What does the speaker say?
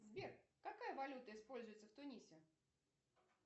сбер какая валюта используется в тунисе